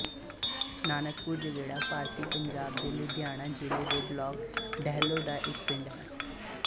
ਨਾਨਕਪੁਰ ਜਗੇੜਾ ਭਾਰਤੀ ਪੰਜਾਬ ਦੇ ਲੁਧਿਆਣਾ ਜ਼ਿਲ੍ਹੇ ਦੇ ਬਲਾਕ ਡੇਹਲੋਂ ਦਾ ਇੱਕ ਪਿੰਡ ਹੈ